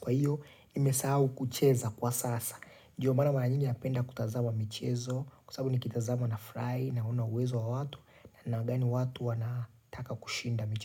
kwa hiyo, nimesahau kucheza kwa sasa. Ndio mara mara nyingi napenda kutazama michezo, kwa sababu nikitazama nafurahi, naona uwezo wa watu, namna gani watu wanataka kushinda michezo.